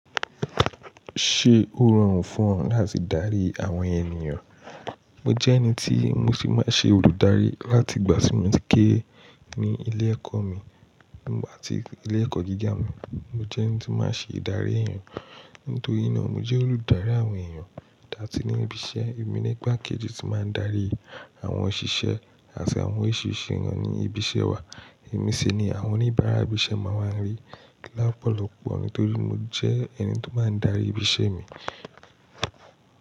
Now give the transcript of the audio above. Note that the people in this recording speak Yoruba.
Ṣé ó rọrùn fún ọ láti darí àwọn ènìyàn? Mo jẹ́ ẹni tí mo sì máa n ṣe olùdarí láti ìgbà tí mo ti kére ní ilé ẹ̀kọ́ mi. Nígbà tí ilé ẹ̀kọ́ gíga mi, mo jẹ́ ẹni tí máa ń ṣe ìdarí èèyàn. Nítorí náà mo jẹ́ olùdarí àwọn èèyàn láti ní ibi iṣẹ́. Emi ní igba kejì tí máa ń darí àwọn òṣìṣẹ́ àti àwọn oriṣiriṣi eeyan ní ibi iṣẹ́ wa. Ẹ̀mi sì ni àwọn oníbàárà ibi iṣẹ́ máa ń wa rí lopòlọ́pọ̀ nítorí mo jẹ́ ẹni tí o máa ń darí ibi iṣẹ́ mi.